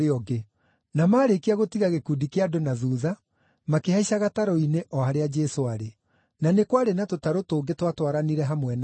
Na maarĩkia gũtiga gĩkundi kĩa andũ na thuutha, makĩhaica gatarũ-inĩ o harĩa Jesũ aarĩ. Na nĩ kwarĩ na tũtarũ tũngĩ twatwaranire hamwe nake.